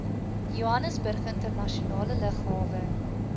johannesburg internasionale lughawe